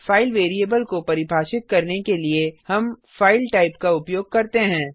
file variable को परिभाषित करने के लिए हम फाइल टाइप का उपयोग करते हैं